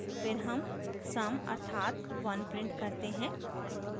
फिर sum sum अर्थात 1 print करते हैं